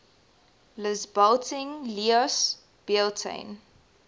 lisbalting lios bealtaine